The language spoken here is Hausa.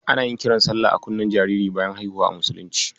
Ana yin kiran salla a kunnen jariri bayan haihuwa a musulunci.